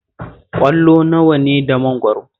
Ƙwallo nawa ne da mangwaro?